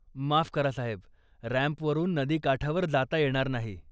माफ करा साहेब, रॅम्पवरून नदीकाठावर जाता येणार नाही.